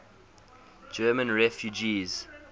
german refugees